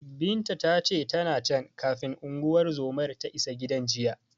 Binta ta ce, tana can, kafin unguwar zomar ta isa gidan jiya.